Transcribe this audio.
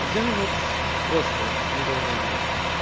я вот просто в недоумении